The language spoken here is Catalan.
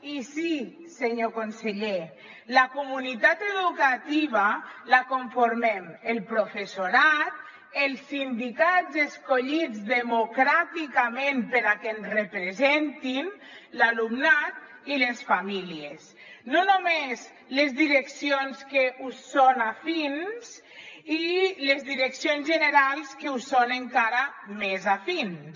i sí senyor conseller la comunitat educativa la conformem el professorat els sindicats escollits democràticament perquè ens representin l’alumnat i les famílies no només les direccions que us són afins i les direccions generals que us són encara més afins